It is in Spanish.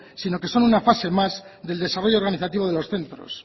sino que son una fase más del desarrollo organizativo de los centros